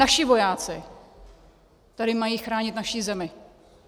Naši vojáci tady mají chránit naši zemi.